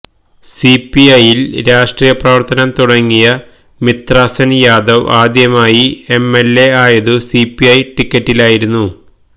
സിപിഐയില് രാഷ്ട്രീയ പ്രവര്ത്തനം തുടങ്ങിയ മിത്രസെന് യാദവ് ആദ്യമായി എംഎല്എയായത് സിപിഐ ടിക്കറ്റിലായിരുന്നു